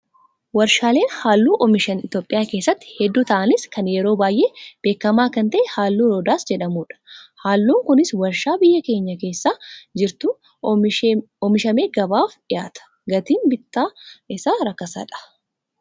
Warshaaleen halluu oomishan Itoophiyaa keessatti hedduu ta'anis kan yeroo baay'ee beekamaa kan ta'e halluu Roodaas jedhamudha. Halluun Kunis warshaa biyya keenya keessa jirutti oomishamee gabaaf dhiyaata. Gatiin bittaa isaa rakasadha